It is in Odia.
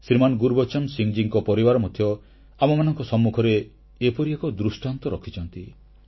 ଶ୍ରୀମାନ ଗୁରବଚନ ସିଂହ ମହାଶୟଙ୍କ ପରିବାର ମଧ୍ୟ ଆମମାନଙ୍କ ସମ୍ମୁଖରେ ଏପରି ଏକ ଦୃଷ୍ଟାନ୍ତ ରଖିଛନ୍ତି